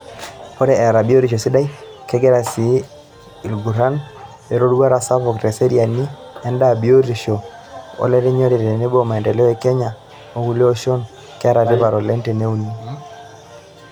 Ore eeta biotisho sidai, kegira sii aiguran eroruata sapuk teseriani endaa, biotisho, olerinyore tenebo maendeleo te Kenya o kulie oshon, keeta tipat oleng' teneuni.